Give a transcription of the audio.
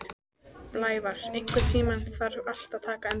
Blævar, einhvern tímann þarf allt að taka enda.